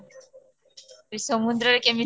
ସମୁଦ୍ରରେ କେମିତି